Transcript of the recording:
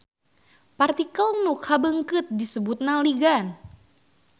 Partikel nu kabeungkeut disebutna ligan.